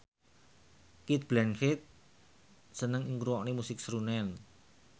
Cate Blanchett seneng ngrungokne musik srunen